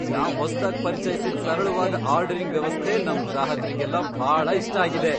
ನಾವ್ ಹೊಸ್ದಾಗ್ ಪರಿಚಯ್ಸಿದ್ ಸರಳವಾದ್ ಆರ್ಡರಿಂಗ್ ವ್ಯವಸ್ಥೆ ನಮ್ ಗ್ರಾಹಕ್ರಿಗೆಲ್ಲ ಭಾಳ ಇಷ್ಟ ಆಗಿದೆ.